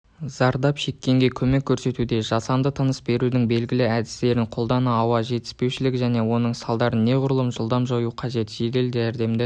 зардап шеккенге көмек көрсетуде жасанды тыныс берудің белгілі әдістерін қолдана ауа жетіспеушілік және оның салдарын неғұрлым жылдам жою қажет жедел жәрдемді